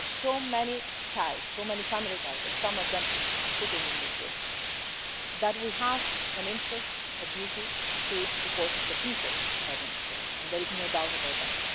We have so many ties so many family ties, and some of them are sitting in this room that we have an interest, a duty, to support the people of Venezuela, and there is no doubt about that.